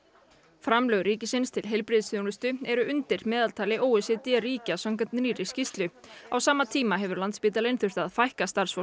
framlög ríkisins til heilbrigðisþjónustu eru undir meðaltali o e c d ríkja samkvæmt nýrri skýrslu á sama tíma hefur Landspítalinn þurft að fækka starfsfólki